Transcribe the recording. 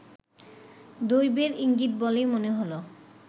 দৈবের ইঙ্গিত বলেই মনে হলো